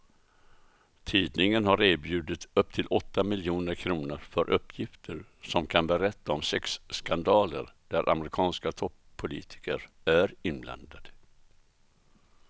Tidningen har erbjudit upp till åtta miljoner kr för uppgifter som kan berätta om sexskandaler där amerikanska toppolitiker är inblandade.